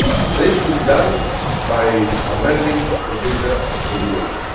This will be done by amending the Visa Regulation.